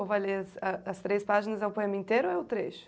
Ou vai ler ah, as três páginas, é o poema inteiro ou é o trecho?